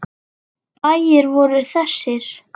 Bæir voru þessir